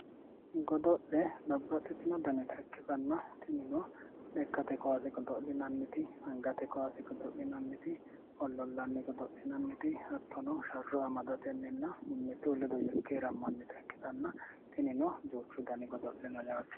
Godo'le babbaxxitino danita ikkitanna tinino lekkate kaase godo'linanniti angate kaase godo'linanniti ollollanni godo'linanniti hattono sharro amadatenninna mimmitu ledo yekkeerammannita ikkitanna tinino duuchu dani godo'le no yaate